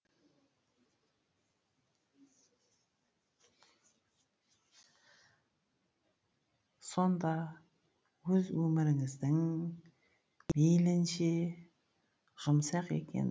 сонда өз өміріңіздің мейлінше жұмсақ екен